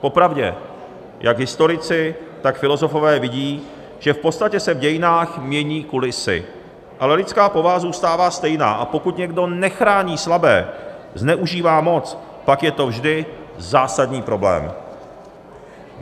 Popravdě, jak historici, tak filozofové vidí, že v podstatě se v dějinách mění kulisy, ale lidská povaha zůstává stejná, a pokud někdo nechrání slabé, zneužívá moc, pak je to vždy zásadní problém.